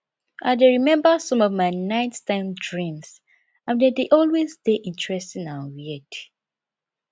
i dey remember some of my nighttime dreams and dem dey always dey interesting and weird